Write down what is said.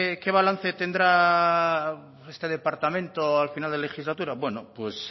qué balance tendrá este departamento a final de legislatura bueno